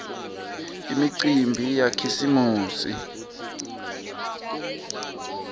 imicimbi yakhisimusi